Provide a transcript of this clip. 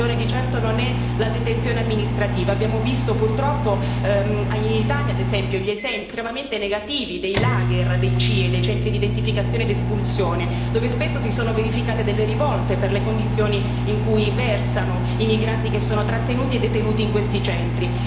La soluzione di certo non è la detenzione amministrativa, abbiamo visto purtroppo in Italia, ad esempio, gli esempi estremamente negativi dei lager dei CIE, i centri di identificazione ed espulsione, dove spesso si sono verificate delle rivolte per le condizioni in cui versano i migranti che sono trattenuti e detenuti in questi centri.